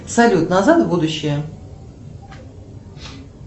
салют назад в будущее